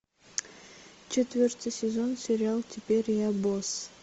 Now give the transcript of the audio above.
четвертый сезон сериал теперь я босс